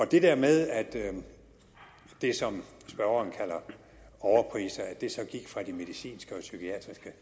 det der med at det som spørgeren kalder overpriser gik fra de medicinske og psykiatriske